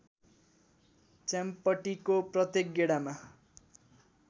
च्याम्पटीको प्रत्येक गेडामा